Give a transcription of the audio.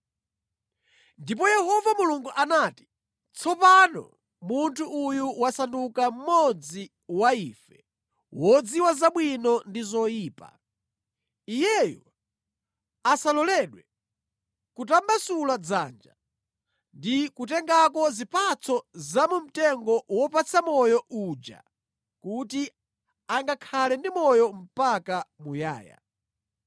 Ndipo Yehova Mulungu anati, “Tsopano munthu uyu wasanduka mmodzi wa ife, wodziwa zabwino ndi zoyipa. Iyeyu asaloledwe kutambasula dzanja ndi kutengako zipatso za mu mtengo wopatsa moyo uja kuti angakhale ndi moyo mpaka muyaya.”